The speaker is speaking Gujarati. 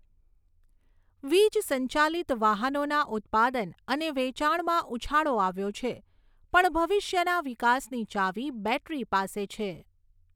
વીજ સંચાલિત વાહનોના ઉત્પાદન અને વેચાણમાં ઉછાળો આવ્યો છે પણ ભવિષ્યના વિકાસની ચાવી બૅટરી પાસે છે.